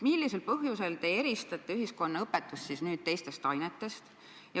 Mis põhjusel te eristate nüüd ühiskonnaõpetust teistest ainetest?